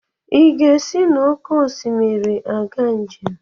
Ị ga-esi n'oké osimiri aga njem?